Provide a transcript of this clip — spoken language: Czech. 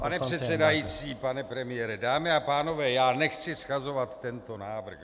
Pane předsedající, pane premiére, dámy a pánové, já nechci shazovat tento návrh.